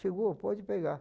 Chegou, pode pegar.